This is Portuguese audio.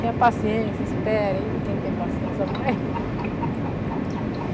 Tem a paciência, espera aí, ninguém tem paciência mais.